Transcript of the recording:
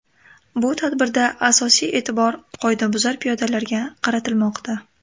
Bu tadbirda asosiy e’tibor qoidabuzar piyodalarga qaratilmoqda.